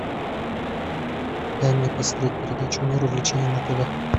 дай мне посмотреть передачу мир увлечений на тв